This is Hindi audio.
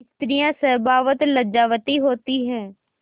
स्त्रियॉँ स्वभावतः लज्जावती होती हैं